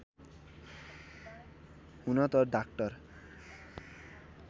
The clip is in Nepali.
हुन त डाक्टर